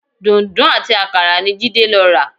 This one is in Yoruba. Dùǹdú àti àkàrà ni Jídé lọ rà